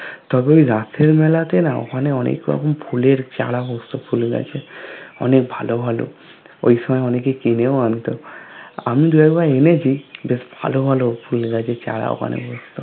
তবে ওই রাসের মেলা তে না ওখানে অনেক রকমের ফুলের চারা বস্তু ফুল গাছের অনেক ভালো ভালো ওইসময় অনেকেও কিনেও অন্ত আমি দুই এক বার এনেছি বেশ ভালো ভালো ফুল গাছের ছাড়া ঐখানে বস্তু